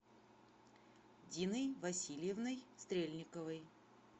диной васильевной стрельниковой